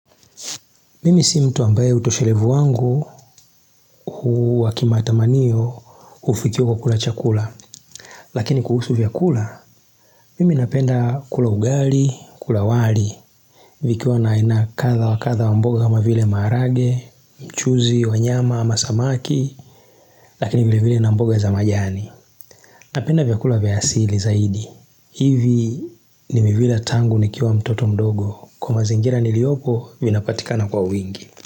Mimi si mtu ambaye utoshelevu wangu hu wa kimatamaniyo ufikia kwa kula chakula Lakini kuhusu vyakula, mimi napenda kula ugali, kula wali vikiwa na aina kadha wa kadha wa mboga kama vile maharage, mchuzi, wa nyama ama samaki Lakini vile vile na mboga za majani Napenda vyakula vya asili zaidi hivi nimevila tangu nikiwa mtoto mdogo Kwa mazingira niliopo vinapatikana kwa wingi.